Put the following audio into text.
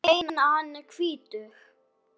Ég meina, hann er hvítur!